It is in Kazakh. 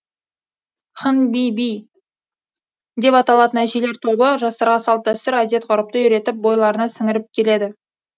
ханбибі деп аталатын әжелер тобы жастарға салт дәстүр әдет ғұрыпты үйретіп бойларына сіңіріп келеді